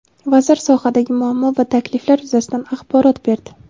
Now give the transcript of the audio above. Vazir sohadagi muammo va takliflar yuzasidan axborot berdi.